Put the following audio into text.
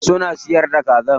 Suna siyar da kaza?